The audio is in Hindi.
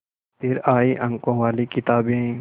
फिर आई अंकों वाली किताबें